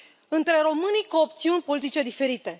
între românii cu opțiuni politice diferite.